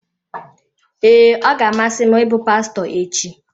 Ee, ọ ga-amasị m ịbụ pastọ echi.